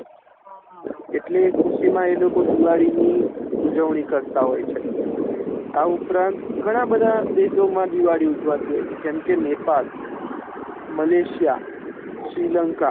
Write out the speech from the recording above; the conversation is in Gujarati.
હમ એટલે એ ખુશીમા એ લોકો દિવાળી ની ઉજવણી કરતા હોય છે આ ઉપરાંત ગણ બેઠા દેશો મા દિવાળી ઊજવાતી હોય છે જેમ કે નેપાળ મલેશિય શ્રીલંકા